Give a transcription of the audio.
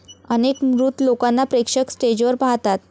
अनेक मृत लोकांना प्रेक्षक स्टेजवर पाहतात.